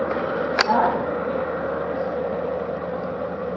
আর? hello?